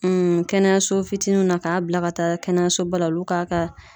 kɛnɛyaso fitiniw na k'a bila ka taa kɛnɛyasoba la olu k'a ka